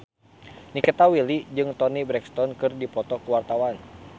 Nikita Willy jeung Toni Brexton keur dipoto ku wartawan